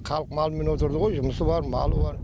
халық малмен отырды ғой жұмысы бар малы бар